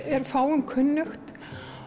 er fáum kunnugt